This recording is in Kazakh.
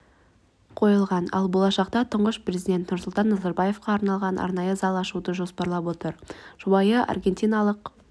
қойылған ал болашақта тұңғыш президент нұрсұлтан назарбаевқа арналған арнайы зал ашуды жоспарлап отыр жұбайы аргентиналық